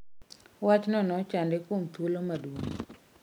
Wachno nochande kuom thuolo maduong'